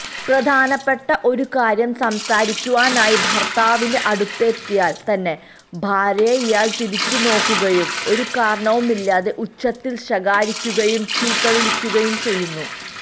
പ്രധാനപ്പെട്ട ഒരുകാര്യം സംസാരിക്കുവാനായി ഭർത്താവിന്റെ അടുത്തെത്തിയാൽ തന്നെ ഭാര്യയെ ഇയാൾ തുറിച്ചുനോക്കുകയും ഒരു കാരണവുമില്ലാതെ ഉച്ചത്തിൽ ശകാരിക്കുകയും ചീത്തവിളിക്കുകയും ചെയ്യുന്നു